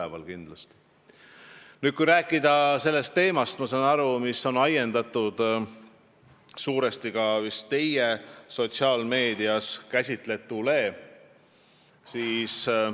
Ma saan aru, et see teema on vist suuresti ajendatud teie sotsiaalmeedias käsitletust.